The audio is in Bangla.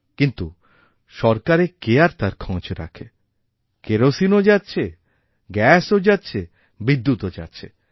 কিন্তু সরকারে কে আরতার খোঁজ রাখে কেরোসিনও যাচ্ছে গ্যাসও যাচ্ছে বিদ্যুৎও যাচ্ছে